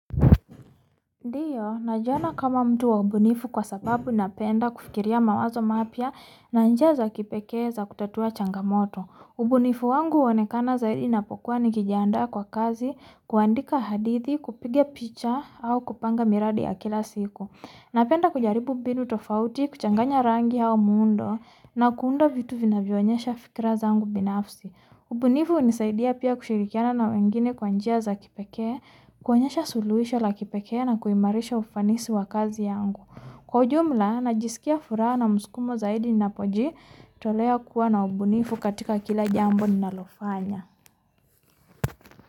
Ndiyo, najiona kama mtu wa ubunifu kwa sababu napenda kufikiria mawazo mapya na njia za kipekee za kutatua changamoto. Ubunifu wangu huonekana zaidi napokuwa nikijiandaa kwa kazi, kuandika hadithi, kupiga picha, au kupanga miradi ya kila siku. Napenda kujaribu mbinu tofauti, kuchanganya rangi au muundo, na kuunda vitu vinavyo onyesha fikra zangu binafsi. Ubunifu hunisaidia pia kushirikiana na wengine kwa njia za kipekee, kuonyesha suluhisho la kipekee na kuimarisha ufanisi wa kazi yangu. Kwa ujumla najiskia furaha na msukumo zaidi ninapojitolea kuwa na ubunifu katika kila jambo ninalofanya.